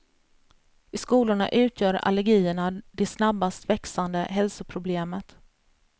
I skolorna utgör allergierna det snabbast växande hälsoproblemet.